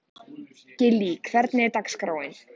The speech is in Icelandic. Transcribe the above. Gillý, hvernig er dagskráin?